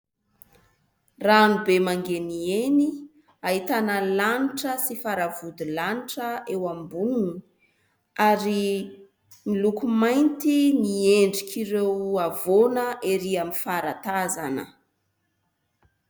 Ranobe mangeniheny ahitana ny lanitra sy faravodilanitra eo amboniny ary ny loko mainty ny endrik' ireo havoana erỳ amin'ny faratazana.